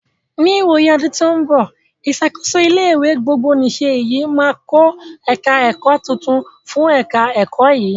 Ní ìwòyí ọdún tó ń bọ̀, ìṣàkóso ilé ìwé gbogbonìse yìí màá kọ́ ẹ̀ka ẹ̀kọ́ tuntun fún ẹ̀ka ẹ̀kọ́ yìí.